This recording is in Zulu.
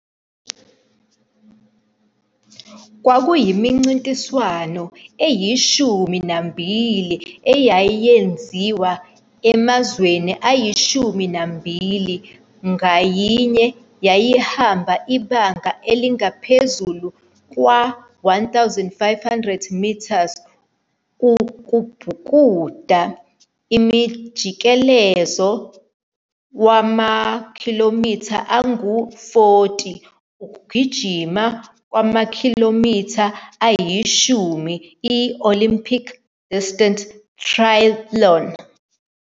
Kwakunemincintiswano eyishumi nambili eyayenziwa emazweni ayishumi nambili, ngayinye yayihamba ibanga elingaphezu kwe-1500 m ubhukuda, umjikelezo wamakhilomitha angu-40, ukugijima kwamakhilomitha ayishumi, i-Olympic-distance triathlon.